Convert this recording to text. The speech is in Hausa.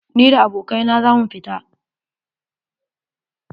Ni da abokai na za mu fita.